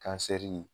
Kansɛri